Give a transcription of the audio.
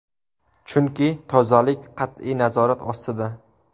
Chunki tozalik qat’iy nazorat ostida.